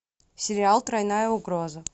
сериал тройная угроза